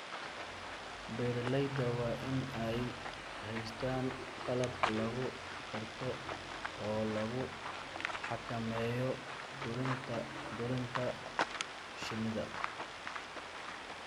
Beeralayda waa in ay haystaan ??qalab lagu garto oo lagu xakameeyo dulin shinnida.